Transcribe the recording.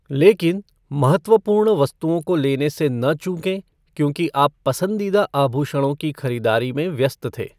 लेकिन, महत्वपूर्ण वस्तुओं को लेने से न चूकें क्योंकि आप पसंदीदा आभूषणों की खरीदारी में व्यस्त थे।